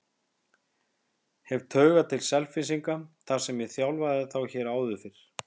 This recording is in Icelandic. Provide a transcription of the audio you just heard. Hef taugar til Selfyssinga þar sem ég þjálfaði þá hér áður fyrr.